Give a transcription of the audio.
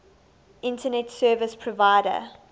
internet service provider